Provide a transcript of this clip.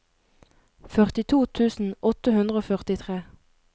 førtito tusen åtte hundre og førtitre